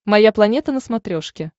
моя планета на смотрешке